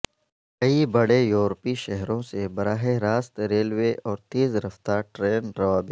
کئی بڑے یورپی شہروں سے براہ راست ریلوے اور تیز رفتار ٹرین روابط